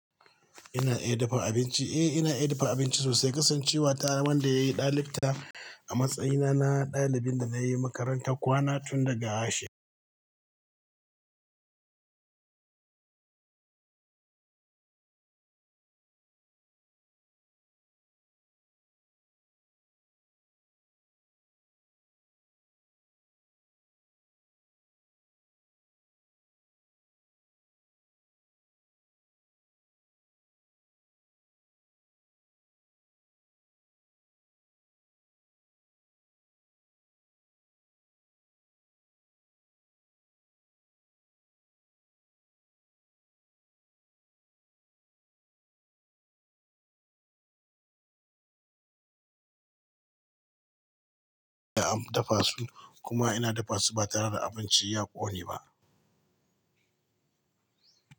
Ina iya dafa abinci. Eh ina iya dafa abinci sosai kasancewa wanda yayi dalibta amatsayina na dalibinda nayi makaranta kwana tunda gashi Ya'am dafa su kuma ina dafa su batare da abinci ya ƙone ba.